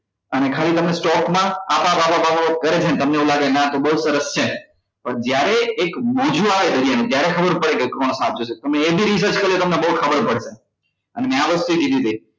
અને ખાલી તમને stock મા આપ આપ આપ કરે છે ને તમને એવુ લાગે છે કે ના આ તો બઉ સરસ છે પણ જ્યારે એક મોજો આવે દરિયા માં ત્યારે ખબર પડે કે કોણ સાચું છે તમે એ બી re search કરજો તમને બઉ ખબર પડશે અને મે આ વસ્તુએ કીધી હતી